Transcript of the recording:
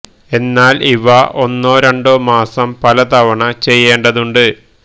എന്നാൽ ഇവ ഒന്നോ രണ്ടോ മാസം പല തവണ ചെയ്യേണ്ടതുണ്ട്